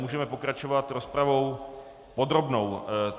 Můžeme pokračovat rozpravou podrobnou.